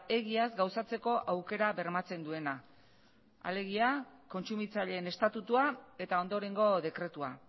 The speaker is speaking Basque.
egiaz gauzatzeko aukera bermatzen duena alegia kontsumitzaileen estatutua eta ondorengo dekretua